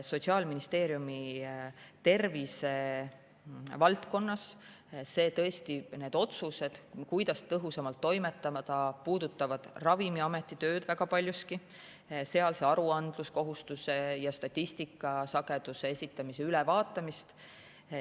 Sotsiaalministeeriumi tervisevaldkonnas need otsused, kuidas tõhusamalt toimetada, puudutavad Ravimiameti tööd väga paljuski, sealhulgas aruandluskohustuse ja statistika sageduse esitamise ülevaatamist.